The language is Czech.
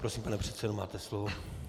Prosím, pane předsedo, máte slovo.